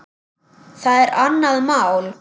Það er annað mál.